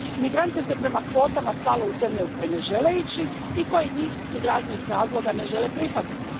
Migrante se prema kvotama slalo u zemlje u koje ne žele ići i koje njih iz raznih razloga ne žele prihvatiti.